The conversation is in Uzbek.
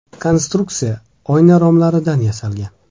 Konstruksiya oyna romlaridan yasalgan.